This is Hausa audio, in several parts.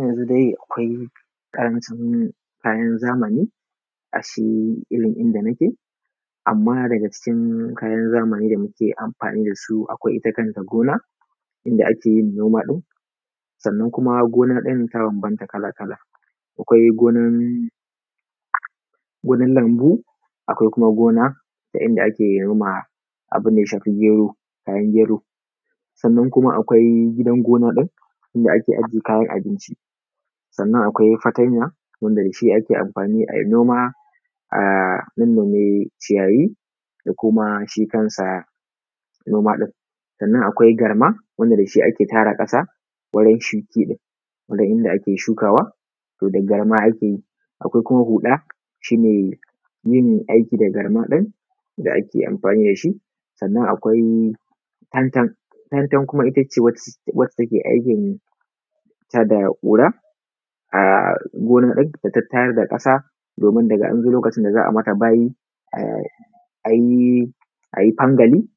Yanzu dai akwai ƙarancin kayan zamani irin inda nake amma daga cikin kayan zamani akwai ita kanta gona idan ake yin noma ɗin. Sannan ita kanta gonar ta banbanta kala-kala akwai gonar lambu akwai kuma gona da ake mona abun da ya shafi gero. Sannan kuma akwai gidan gona ɗin inda ake ajiye kayan abinci akwai fatanya wanda da shi ake noma a nannome ciyayi da shi kan shi noma din akwai garma wanda da shi ake tara ƙasa ɗin wanda ake shukawa to da garma ake yi akwai kuma huɗa shi ne yin aiki da garma ɗin da ake amfani da shi sannan akwai tantan, tantan ita ce wanda take aikinta da ƙura a gina din da tattayar da ƙasa ɗin za a yi mata bayi a yi fangala ɗin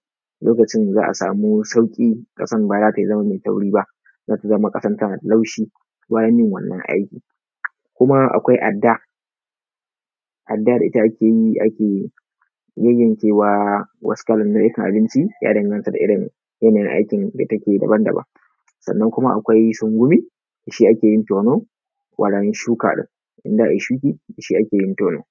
yadda za a sama sauƙi ƙasar ba za ta zama mai tauri ba ko ta zama kasar laushi yaban yin wannan aiki. Kuma akwai adda da ita ake yayyankewa wasu nau'ikan abinci ya danganta da irin aikin da take daban-daban. Sannan kuma akwai sungumi da shi ake yin tono wurin shuka ɗin, in za a yi shuki da shi ake yin tono.